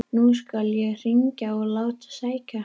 Nú skal ég hringja og láta sækja hann.